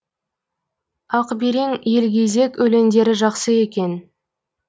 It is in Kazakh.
ақберен елгезек өлеңдері жақсы екен